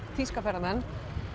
þýska ferðamenn